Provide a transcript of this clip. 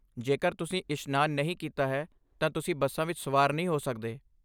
ਜੇਕਰ ਤੁਸੀਂ ਇਸ਼ਨਾਨ ਨਹੀਂ ਕੀਤਾ ਹੈ ਤਾਂ ਤੁਸੀਂ ਬੱਸਾਂ ਵਿੱਚ ਸਵਾਰ ਨਹੀਂ ਹੋ ਸਕਦੇ।